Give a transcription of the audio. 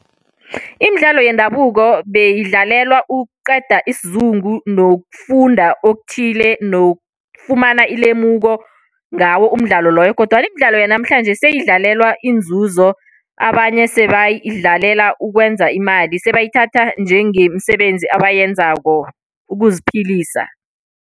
Imidlalo yendabuko beyidlalelwa ukuqeda isizungu nokufunda okuthile, nokufumana ilemuko ngawo umdlalo loyo. Kodwana imidlalo yanamhlanje seyidlalelwa inzuzo. Abanye sebadlalela ukwenza imali, sebayithatha njengemisebenzi abayenzako ukuziphilisa.